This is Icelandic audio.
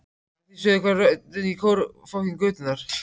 Að því sögðu hvarf röddin í kór götunnar.